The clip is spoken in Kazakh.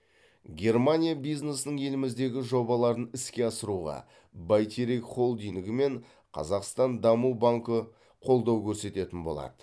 германия бизнесінің еліміздегі жобаларын іске асыруға бәйтерек холдингі мен қазақстан даму банкі қолдау көрсететін болады